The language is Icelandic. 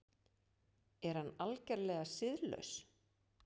Er hann algerlega siðlaus?